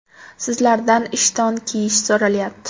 Sizlardan ishton kiyish so‘ralyapti.